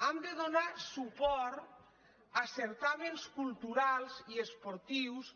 hem de donar suport a certàmens culturals i esportius